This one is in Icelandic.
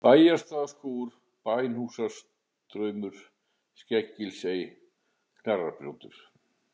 Bæjarstaðaskógur, Bænhússtraumur, Skeleggsey, Knarrarbrjótur